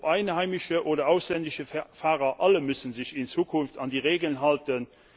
Ob einheimische oder ausländische Fahrer, alle müssen sich in Zukunft an die Regeln halten.